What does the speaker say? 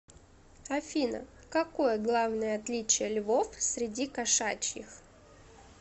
афина какое главное отличие львов среди кошачьих